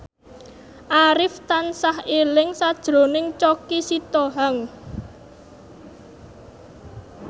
Arif tansah eling sakjroning Choky Sitohang